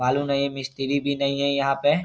बालू नहीं मिस्त्री भी नहीं है यहाँ पे।